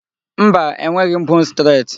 Mba, e nweghị m 'bone stret'